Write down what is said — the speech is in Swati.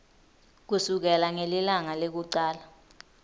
kusukela ngelilanga lekucala